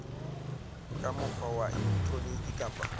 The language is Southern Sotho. ka mokgwa wa elektroniki kapa